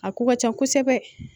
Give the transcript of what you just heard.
A ko ka ca kosɛbɛ